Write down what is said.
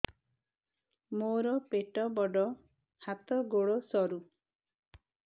ମୋର ପେଟ ବଡ ହାତ ଗୋଡ ସରୁ